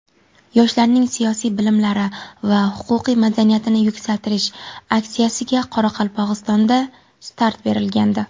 "Yoshlarning siyosiy bilimlari va huquqiy madaniyatini yuksaltirish" aksiyasiga Qoraqalpog‘istonda start berilgandi.